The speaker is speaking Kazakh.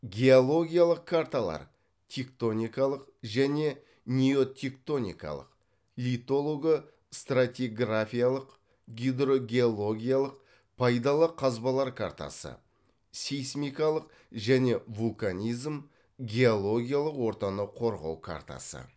геологиялық карталар тектоникалық және неотектоникалық литолого стратиграфиялық гидрогеологиялық пайдалы қазбалар картасы сейсмикалық және вулканизм геологиялық ортаны қорғау картасы